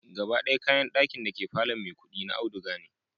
Gaba d'aya kayan d'akin dake palor Maikudi da auduga ne